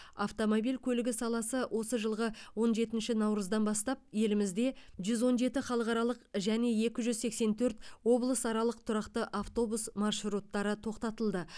автомобиль көлігі саласы осы жылғы он жетінші наурыздан бастап елімізде жүз он жеті халықаралық және екі жүз сексен төрт облысаралық тұрақты автобус маршруттары тоқтатылды